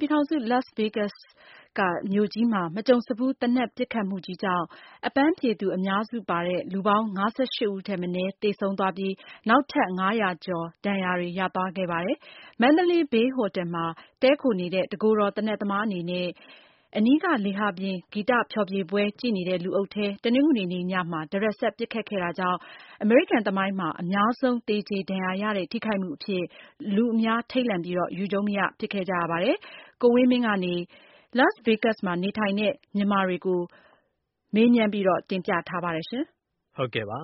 ပြည်ထောင်စု Las Vegas မြို့မှာ မကြုံစဖူး သေနတ်ပစ်ခတ်မှုကြောင့် အပန်းဖြေသူအများစုပါတဲ့ လူပေါင်း ၅၈ ဦးထက်မနည်း သေဆုံးပြီး နောက်ထပ် ၅၀၀ ကျော် ဒဏ်ရာတွေ ရခဲ့ပါတယ်။ Mandalay Bay ဟိုတယ်မှာ တည်းခိုနေတဲ့ တကိုယ်တော် သေနတ်သမားအနေနဲ့ အနီးက လေဟာပြင်ဂီတဖျော်ဖြေပွဲကြည့်နေတဲ့ လူအုပ်ထဲ တနင်္ဂနွေနေ့ ညမှာ တရစပ် ပစ်ခတ်ခဲ့တာကြောင့် အမေရိကန်သမိုင်းမှာ အများဆုံးသေကျေ ဒဏ်ရာရတဲ့ ထိခိုက်မှုအဖြစ် လူအများထိန့်လန့် ခဲ့ပါတယ်။ Las Vegas မှာနေထိုင်နေတဲ့ မြန်မာတချို့က ကံကောင်းပြီး ဘယ်လို ဒီအန္တရာယ်နဲ့ ကပ်ပြီး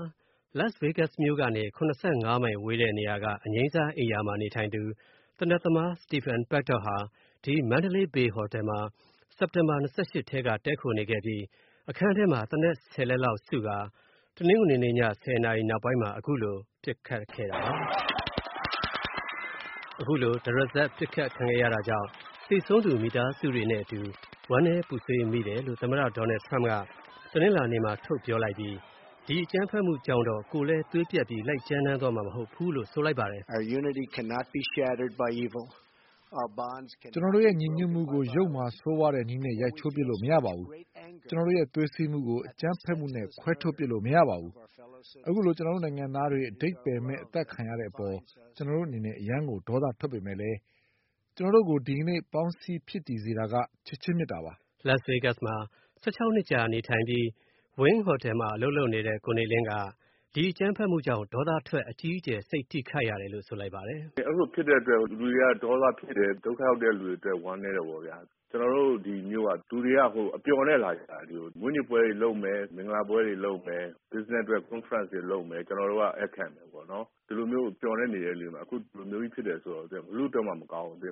လွဲခဲ့တယ်ဆိုတဲ့ အကြောင်းတွေကို ကိုဝင်းမင်းက ဆက်သွယ်မေးမြန်းပြီး တင်ပြထားပါတယ်။ Las Vegas မြို့ကနေ ၇၅ မိုင်ဝေးတဲ့နေရာက အငြိမ်းစားအိမ်ရာမှာနေထိုင်သူ သေနတ်သမား Stephen Paddock ဟာ Mandalay Bay ဟိုတယ်မှာ စက်တင်ဘာ ၂၈ ကတည်းက တည်းခိုနေခဲ့ပြီး အခန်းထဲမှာ သေနတ် ၁၀ လက်လောက်စုကာ တနင်္ဂနွေနေ့ည ၁၀ နာရီလောက်မှာ အခုလို ပစ်ခတ်ခဲ့တာပါ။ အခုလို တရစပ် ပစ်ခတ်ခံရတာကြောင့် သေဆုံးသူ မိသားစုတွေနဲ့အတူ ဝမ်းနည်းပူဆွေးမိတယ်လို့ သမ္မတ Trump က တနင်္လာနေ့မှာ ထုတ်ပြောလိုက်ပြီး ဒီပစ်ခတ်မှုကြောင့်တော့ ကိုယ်လည်းသွေးပြတ်ပြီး လိုက်ကြမ်းတမ်းသွားမှာမဟုတ်ဘူးလို့ဆိုလိုက်ပါတယ်။ “ကျနော်တို့ရဲ့ ညီညွတ်မှုကို ယုတ်မာဆိုးဝါးတဲ့နည်းနဲ့ ရိုက်ချိုးပစ်လို့မရပါဘူး။ ကျနော်တို့ရဲ့သွေးစည်းမှုကို သေနတ်ပစ်ခတ်မှုနဲ့ ခွဲထုတ်ပစ်လို့မရပါဘူး။ အခုလို ကျနော်တို့နိုင်ငံသားတွေ အဓိပ္ပါယ်မဲ့ အသတ်ခံရတဲ့အပေါ် ကျနော်တို့အနေနဲ့ အရမ်းကို ဒေါသထွက်ပေမယ့်လည်း ကျနော်တို့ကို ဒီကနေ့ ပေါင်းစည်းဖြစ်တည်စေတာက ချစ်ခြင်းမေတ္တာပါ။” Las vegas မြို့မှာ ၁၆ နှစ်ကြာနေထိုင်ပြီး Wynn ဟိုတယ်မှာ အလုပ်လုပ်နေတဲ့ ကိုနေလင်းက ဒီပစ်ခတ်မှုကြောင့် ဒေါသထွက် အကြီးအကျယ် စိတ်ထိခိုက်ရတယ်လို့ ဆိုလိုက်ပါတယ်။ “အဲလိုဖြစ်တဲ့အတွက် လူတွေက ဒေါသထွက်တယ် ဒုက္ခရောက်တယ်၊ ဝမ်းနည်းးတယ်ပေါ့ဗျာ။ ကျနော်တို့ ဒီမြို့က လူတွေက အပျော်နဲ့လာကြတာ ။ မွေးနေ့ပွဲတွေလုပ်မယ် ၊ မင်္ဂလာပွဲတွေလုပ်မယ်၊ Business အတွက် concert တွေလုပ်မယ် ကျနော်တို့က ဧည့်ခံမယ်ပေါ့နော် ဒီလိုမျိုးမျှော်လင့်နေတဲ့အချိန်မှာ ဒီလိုမျိုးကြီးဖြစ်တယ်ဆိုတော့ ဘယ်သူ့အတွက်မှမကောင်းဘူး။”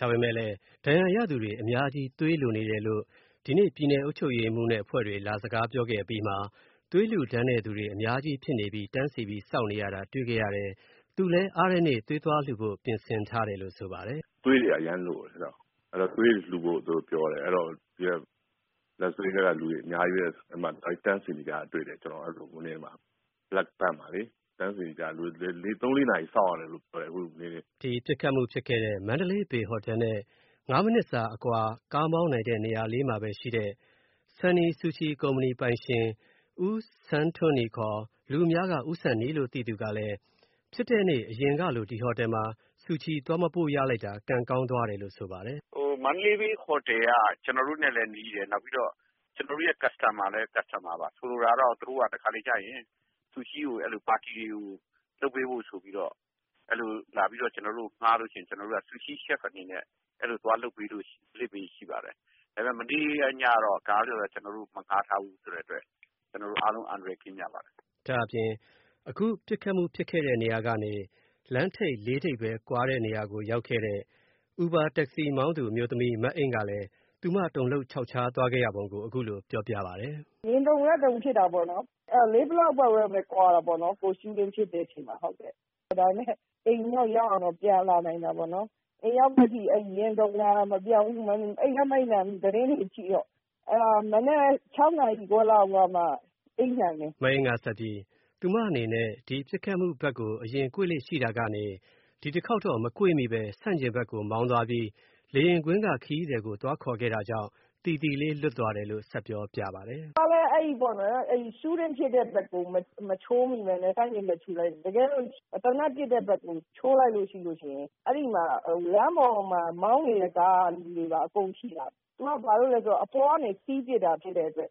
ဒါပေမယ့်လည်း ဒဏ်ရာရသူတွေအများကြီးသွေးလိုနေတယ်လို့ ဒီနေ့ ပြည်နယ်အုပ်ချုပ်ရေးမှူးနဲ့အဖွဲ့တွေ လာစကားပြောခဲ့တဲ့အပြီးမှာ သွေးလှူဒါန်းတဲ့လူတွေအများကြီးဖြစ်နေပြီး တန်းစီစောင့်နေရတာတွေ့ခဲ့ရတဲ့ သူလည်းအားတဲ့နေ့ သွေးသွားလှူဖို့ ပြင်ဆင်ထားတယ်လို့ ဆိုပါတယ်။ “သွေးတွေက အရမ်းလိုတယ် သွေးတွေ လှူဖို့ပြောတယ်၊အဲဒီတော့ Las vegas ကလူတွေအများကြီးပဲ တန်းစီနေတာတွေ့တယ်။လူတွေ ၃-၄ နာရီစောင့်ရတယ်လို့ပြောတယ်။” ပစ်ခတ်မှုဖြစ်ခဲ့တဲ့ Mandalay Bay ဟိုတယ်နဲ့ ၅ မိနစ်စာအကွာ ကားမောင်းတဲ့နေရာမှာရှိတဲ့ Sonny Sushi ကုမ္ပဏီပိုင်ရှင် ဦးဆန်းထွန်းနီ လူအများက ဦးဆန်နီ လို့သိသူက ဖြစ်တဲ့နေ့ အရင်ကလို အဲဒီဟိုတယ်မှာ Sushi သွားမပို့လိုက်ရတာ ကံကောင်းသွားတယ်လို့ ဆိုပါတယ်။ “Mandalay Bay ဟိုတယ်က ကျနော်တို့နဲ့လည်းနီးတယ် ကျနော်တို့ customer ပါ ။ဆိုလိုတာက တခါတလေကျရင် သူတို့က Sushi ကိုလုပ်ပေးဖို့ဆိုပြီးတော့ ကျနော်တို့ကို ငှားလို့ရှိရင် ကျနော်တို့က Sushi chef အနေနဲ့ သွားလုပ်ပေးလေ့ရှိပါတယ်။ ဒါပေမယ့် မနေ့ညကတော့ ကျနော်တို့ကို မငှားထားဘူးဆိုတော့ ကျနော်တို့ အားလုံး အန္တရာယ်ကင်းကြပါတယ်။” ဒါ့အပြင် အခုပစ်ခတ်မှု ဖြစ်တဲ့နေရာကနေ လမ်းထိပ် ၄ ထိပ်ပဲ ကွာတဲ့နေရာကိုရောက်ခဲ့တဲ့ Uber taxi မောင်းသူအမျိုးသမီး မအိမ့်ကလည်း သူမတုန်လှှုပ်ခြောက်ခြားခဲ့ရတဲ့အကြောင်း အခုလိုပြောပြပါတယ်။ “ရင်တုန်တာဖြစ်တာပေါ့နော် ဘာဖြစ်လို့လဲဆိုတော့ ၄ block လောက်ပဲကွာတာပေါ့နော်။ Shooting ဖြစ်တဲ့အချိန်မှာ အိမ်ကိုတော့ ရောက်အောင်တော့ ပြန်လာနိုင်တာပေါ့နော်။ အိမ်ရောက်တော့ ရင်တုန်တာမပျောက်ဘူး၊ အိပ်လည်းမအိပ်နိုင်ဘူး၊ သတင်းတွေကြည့်တော့။ မနက် ၆ နာရီ လောက်မှ အိပ်နိုင်တယ်။” မအိမ့်ကဆက်ပြီး ဒီပစ်ခတ်မှုဘက်ကို အရင်ကွေ့လေ့ရှိတာကနေ ဒီတခေါက်တော့ မကွေ့မိပဲ ဆန့်ကျင်ဘက်ကို မောင်းသွားပြီး လေယာဉ်ကွင်းက ခရီးသည်ကို သွားခေါ်ခဲ့တာကြောင့် သီသီလေး လွတ်သွားတယ်လို့ ဆက်ပြောပြပါတယ်။ “ကျမလည်း အဲဒီ Shooting ပစ်တဲ့ဘက်ကို မချိုးမိပဲနဲ့ ဆန့်ကျင်ဘက်ကို ချိုးလိုက်တယ်။ တကယ်တော့ သေနတ်ပစ်တဲ့ဘက်ကို ချိုးလိုက်ရင် အဲဒီလမ်းပေါ်က မောင်းနေတဲ့ ကားကလူတွေကိုပါ အကုန်ထိတာ သူက ဘာကြောင့်လဲဆိုတော့ အပေါ်ကနေ ပစ်တာဖြစ်တဲ့အတွက်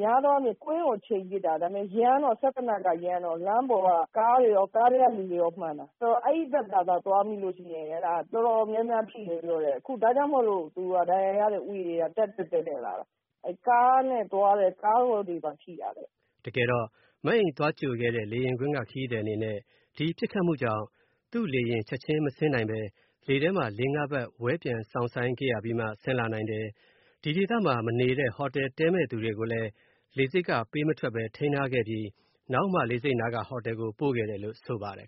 များသောအားဖြင့် ကွင်းကိုချိန်ပစ်တာ၊ စက်သေနတ်က ရမ်းတော့ လမ်းပေါ်က ကားတွေရော ၊ ကားထဲကလူတွေရော မှန်တာ ။ ဆိုတော့ အဲဒီဘက်ကို သွားမိလို့ရှိရင် တော်တော်များများထိတယ်လို့ပြောတယ်။ ဒါကြောင့်မို့လို့ ဒဏ်ရာရတဲ့ဦးရေက တက်လာတာပေါ့။ ကားနဲ့သွားတဲ့လူတွေကိုပါထိတာတဲ့။” တကယ်တော့ မအိမ့်သွားကြိုခဲ့တဲ့ လေယာဉ်ကွင်းက ခရီးသည်အနေနဲ့ ဒီပစ်ခတ်မှုကြောင့် သူ့လေယာဉ်ချက်ချင်းမဆင်းနိုင်ပဲ လေထဲမှာ ၄၊၅ ပတ် ဝဲပျံစောင့်ဆိုင်းခဲ့ရပြီးမှ ဆင်းလာနိုင်တယ်။ ဒီဒေသမှာ မနေပဲ ဟိုတယ်တည်းမယ့်လူတွေကိုလည်း လေဆိပ်က ပေးမထွက် ထိန်းထားခဲ့ပြီး နောက်မှ လေဆိပ်နားက ဟိုတယ်ကို ပို့ခဲ့တယ်လို့ ဆိုပါတယ်